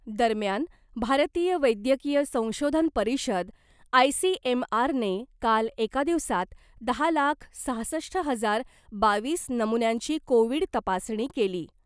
दरम्यान , भारतीय वैद्यकीय संशोधन परिषद आयसीएमआरने काल एका दिवसात दहा लाख सहासष्ट हजार बावीस नमुन्यांची कोविड तपासणी केली .